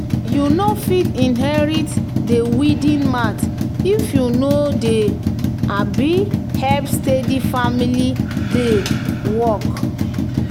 "you no fit inherit di weeding mat if you no dey um help steady for rainy day work."